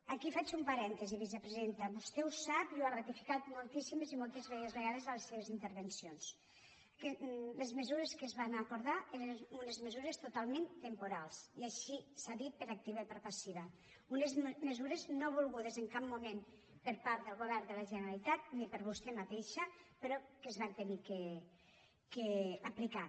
aquí faig un parèntesi vicepresidenta vostè ho sap i ho ha ratificat moltíssimes i moltíssimes vegades en les seves intervencions que les mesures que es van acordar eren unes mesures totalment temporals i així s’ha dit per activa i per passiva unes mesures no volgudes en cap moment per part del govern de la generalitat ni per vostè mateixa però que es van haver d’aplicar